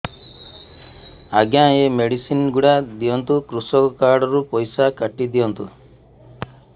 ଆଜ୍ଞା ଏ ମେଡିସିନ ଗୁଡା ଦିଅନ୍ତୁ କୃଷକ କାର୍ଡ ରୁ ପଇସା କାଟିଦିଅନ୍ତୁ